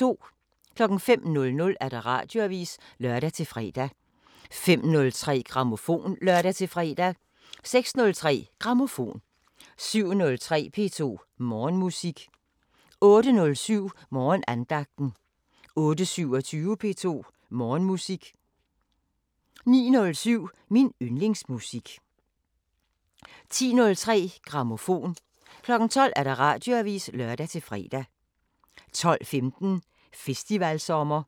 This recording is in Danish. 05:00: Radioavisen (lør-fre) 05:03: Grammofon (lør-fre) 06:03: Grammofon 07:03: P2 Morgenmusik 08:07: Morgenandagten 08:27: P2 Morgenmusik 09:07: Min yndlingsmusik 10:03: Grammofon 12:00: Radioavisen (lør-fre) 12:15: Festivalsommer